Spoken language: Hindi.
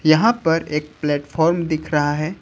यहां पर एक प्लेटफार्म दिख रहा है।